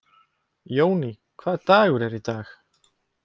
Jóný, hvaða dagur er í dag?